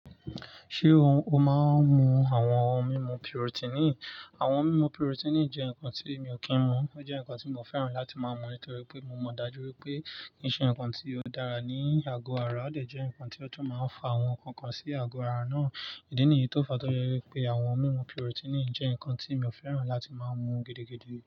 Ṣé o máa ń mu àwọn ohun mímu protein? Àwọn ohun mímu protein jẹ́ nǹkan tí mi ò kí ń mu. Ó jẹ́ nǹkan tí mo fẹ́ràn láti máa mú nítorí pé mo mọ̀ dájú wípé kise ǹkan tí ó dára ní àgọ ara, ó dẹ̀ jẹ́ ǹkan tí ó tún máa ń fa àwọn nǹkan kan sí àgọ̀ ara náà. Ìdí nìyí tó fa tó ya wípé àwọn ohun mímu protein jẹ́ ǹkan tí mi ò fẹ́ràn láti máa ń mu gidigidi.